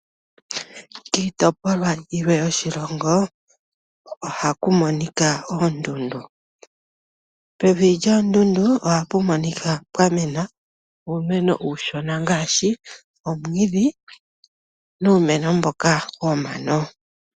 Kiitopolwa yilwe yoshilongo ohaku monika oondundu. Pevi lyoondudu oha pu monika pwamena uumeno uushona ngaashi ; omwiidhi, nuumeno mboka womano.